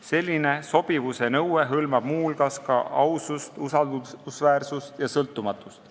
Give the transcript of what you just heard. Selline sobivuse nõue hõlmab muu hulgas ka ausust, usaldusväärsust ja sõltumatust.